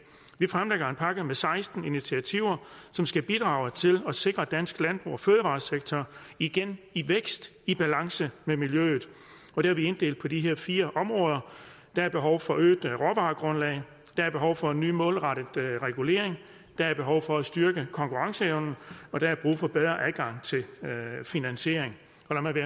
vi fremlægger en pakke med seksten initiativer som skal bidrage til at sikre at dansk landbrug og fødevaresektor igen i vækst i balance med miljøet og det har vi inddelt på de her fire områder der er behov for øget råvaregrundlag der er behov for en ny målrettet regulering der er behov for at styrke konkurrenceevnen og der er brug for bedre adgang til finansiering